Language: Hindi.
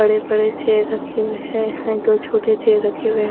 बड़े-बड़े चेयर रखे हुए हैं है दो छोटे चेयर रखे हुए --